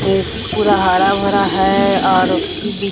एक पूरा हरा-भरा है और बीच --